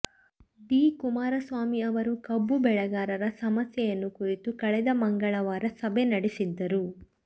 D Kumaraswamy ಅವರು ಕಬ್ಬು ಬೆಳೆಗಾರರ ಸಮಸ್ಯೆ ಯನ್ನು ಕುರಿತು ಕಳೆದ ಮಂಗಳವಾರ ಸಭೆ ನಡೆಸಿದ್ದರು